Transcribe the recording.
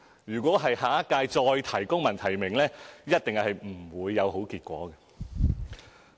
若下一屆再提公民提名，一定是不會有好結果的。